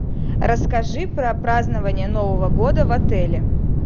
расскажи про празднование нового года в отеле